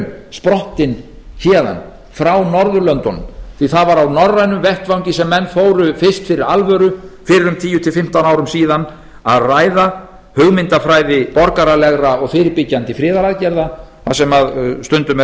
sprottin héðan frá norðurlöndunum því að það var á norrænum vettvangi sem menn fóru fyrst fyrir alvöru fyrir um tíu til fimmtán árum síðan að ræða hugmyndafræði borgaralegra og fyrirbyggjandi friðaraðgerða það sem stundum